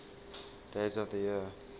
days of the year